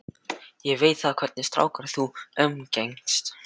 Ég veit ekki hvernig stráka þú umgengst.